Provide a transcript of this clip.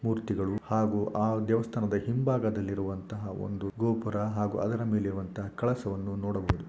ಮೂರ್ತಿಗಳು ಹಾಗೂ ಆ ದೇವಸ್ಥಾನದ ಹಿಂಭಾಗದಲ್ಲಿರುವಂತಹ ಒಂದು ಗೋಪುರ ಹಾಗೂ ಅದರ ಮೇಲೆ ಇರುವಂಥಹ ಕಳಸವನ್ನು ನೋಡಬಹುದು.